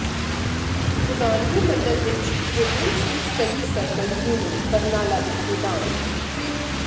ਪ੍ਰਧਾਨਗੀ ਮੰਡਲ ਵਿੱਚ Gobind Singh study circle unit Barnala ਦੇ ਪ੍ਰਧਾਨ ਪ੍ਰਿੰ